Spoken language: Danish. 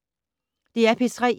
DR P3